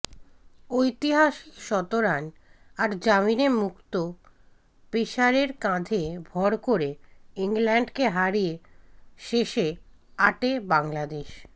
ঐতিহাসিক শতরান আর জামিনে মুক্ত পেসারের কাঁধে ভর করে ইংল্যান্ডকে হারিয়ে শেষ আটে বাংলাদেশ